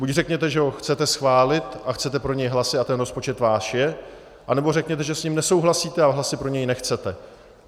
Buď řekněte, že ho chcete schválit a chcete pro něj hlasy, a ten rozpočet váš je, anebo řekněte, že s ním nesouhlasíte a hlasy pro něj nechcete.